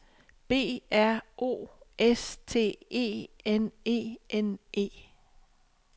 B R O S T E N E N E